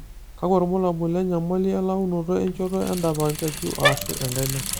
kakua irbulabol le nyamali e launoto e nchoto edap enkeju aashu enkaina?